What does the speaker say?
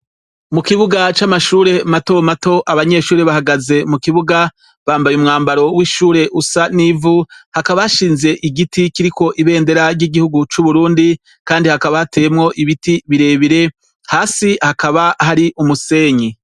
Mu kibuga c'amashure mato mato, abanyeshure bahagaze mu kibuga, bambaye umwambaro w'ishure usa n'ivu, hakaba hashinze igiti kiriko ibendera ry'igihugu c'Uburundi, kandi hakaba hateyemwo ibiti birebire, hasi hakaba hari umusenyi.